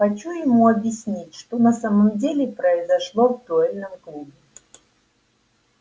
хочу ему объяснить что на самом деле произошло в дуэльном клубе